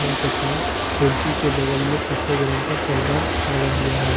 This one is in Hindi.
तथा खिड़की के बगल में सफेद रंग का पर्दा लगा हुआ है।